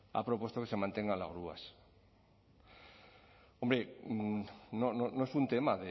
ha propuesto que se mantengan las grúas hombre no es un tema